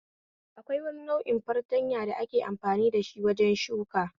Akwai wani nau'in fartanya da ake amfani dashi wajen shuka